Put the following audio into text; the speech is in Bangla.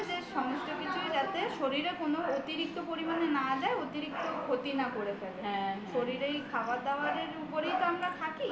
সমস্ত কিছুই যাতে শরীরে অতিরিক্ত পরিমাণে না দেয় অতিরিক্ত ক্ষতি না করে ফেলে শরীরের খাবার-দাবারের উপরেরই তো আমরা থাকি